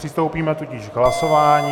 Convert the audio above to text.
Přistoupíme tudíž k hlasování.